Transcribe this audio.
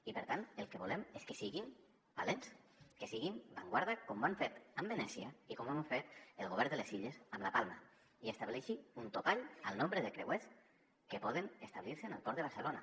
i per tant el que volem és que siguin valents que siguin avantguarda com ho han fet a venècia i com ho ha fet el govern de les illes amb palma i estableixin un topall al nombre de creuers que poden establir se en el port de barcelona